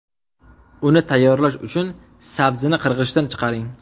Uni tayyorlash uchun sabzini qirg‘ichdan chiqaring.